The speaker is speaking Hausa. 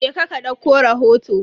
Je ka ka dauko rahoto.